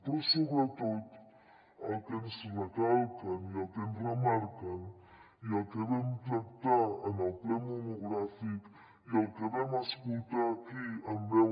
però sobretot el que ens recalquen i el que ens remarquen i el que vam tractar en el ple monogràfic i el que vam escoltar aquí en veu